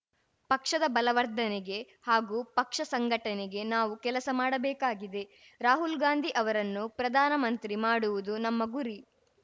ಪಕ್ಷದ ಬಲವರ್ಧನೆಗೆ ಹಾಗೂ ಪಕ್ಷ ಸಂಘಟನೆಗೆ ನಾವು ಕೆಲಸ ಮಾಡಬೇಕಾಗಿದೆ ರಾಹುಲ್‌ಗಾಂಧಿ ಅವರನ್ನು ಪ್ರಧಾನಮಂತ್ರಿ ಮಾಡುವುದು ನಮ್ಮ ಗುರಿ